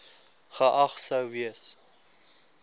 geag sou gewees